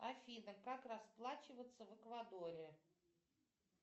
афина как расплачиваться в эквадоре